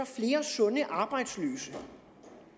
flere sunde arbejdsløse